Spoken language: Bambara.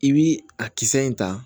I bi a kisɛ in ta